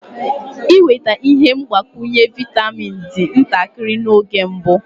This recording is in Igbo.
Ịnweta ihe mgbakwunye vaịtamin dị ntakịrị n'oge mbụ.